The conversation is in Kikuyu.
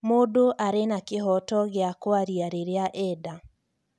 Mũndũ arĩ na kĩhoto gĩa kũaria rĩrĩa enda